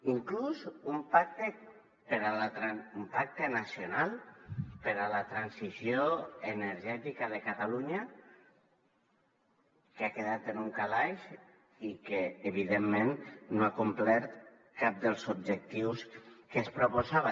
inclús un pacte nacional per a la transició energètica de catalunya que ha quedat en un calaix i que evidentment no ha complert cap dels objectius que es proposava